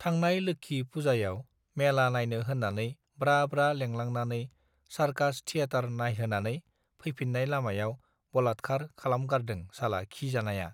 थांनाय लोक्षि पुजायाव मेला नायनो होनानै ब्रा ब्रा लेंलांनानै सारकास थियेटार नायहोनानै फैफिनाय लामायाव बलातखार खालामगारदों साला खि जानायआ